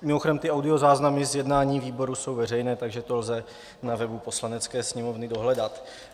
Mimochodem ty audiozáznamy z jednání výboru jsou veřejné, takže to lze na webu Poslanecké sněmovny dohledat.